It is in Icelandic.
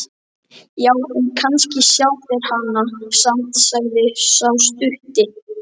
Já, en kannski sjá þeir hana samt, sagði sá stutti.